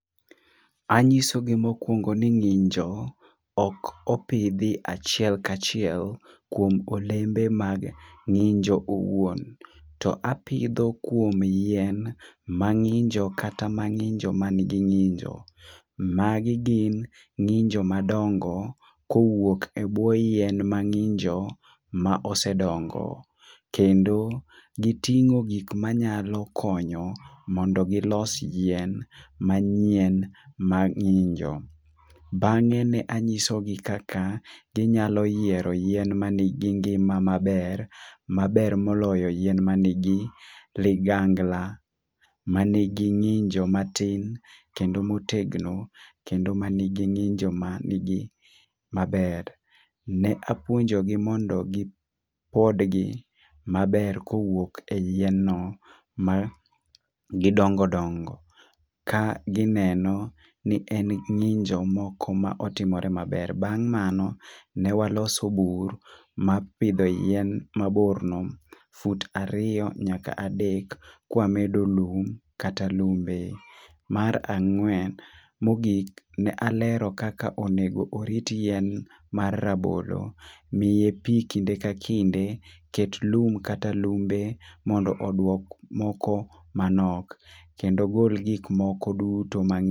Anyiso gi mokwongo ni ng'injo ok opidhi achiel kachiel kuom olembe mag ng'injo owuon to apidho kuom yien ma ng'injo kata manigi ng'injo. Magi gin ng'injo madongo kowuok e bwo yien ma ng'injo ma osedongo, kendo giting'o gik manyalo konyo mondo gilos yien manyien ma ng'injo. Bange ne ang'iso gi kaka ginyalo yiero yien manigi ngima maber maber moloyo yien manigi ligangla , manigi ng'injo matin kendo motegno kendo manigi ng'injo manigi maber. Ne apuonjo gi mondo gipod gi maber kowuok e yien no ma gidongo dongo, ka gineno ni en ng'injo moko ma otimore maber. Bang mano ne waloso bur mar pidho yein mabor no fut ariyo nyaka adek kwamedo lowo kata lumbe. Mar angwen mogik ne alero kaka onego orit yien mar rabolo ne pii e kinde ka kinde ket kum kata lumbe mondo oduok moko manok kendo ogol gik moko duto ma